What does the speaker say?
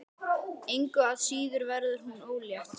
Engu að síður verður hún ólétt.